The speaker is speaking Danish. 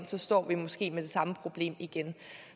så står vi måske med det samme problem igen